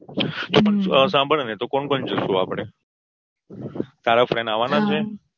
તો પણ સભાળ ને કોણ કોણ જઈશું આપડે તારા friends આવાના છે.